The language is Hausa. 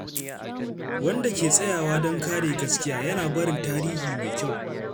Wanda ke tsayawa don kare gaskiya, yana barin tarihi mai kyau.